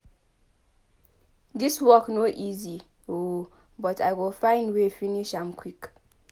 Dis work no easy o but I go find way finish am quick.